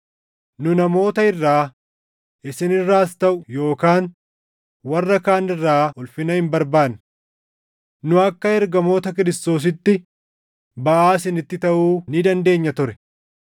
Nu namoota irraa, isin irraas taʼu yookaan warra kaan irraa ulfina hin barbaanne. Nu akka ergamoota Kiristoosiitti baʼaa isinitti taʼuu ni dandeenya ture;